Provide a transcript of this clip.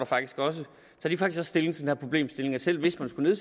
faktisk også tager stilling til den her problemstilling så hvis man skulle